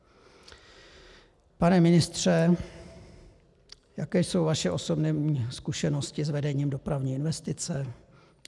Pane ministře, jaké jsou vaše osobní zkušenosti s vedením dopravní investice?